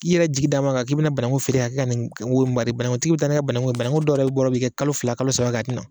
I yɛrɛ jigi d'alen don a kan k'i bi na banagu feere k'a ka na nin ma de banangutigi bi taa n'a ka banangu ye banangu dɔw yɛrɛ bɔrɔ bi kɛ kalo fila kalo saba a ti na